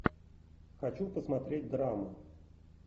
хочу посмотреть драму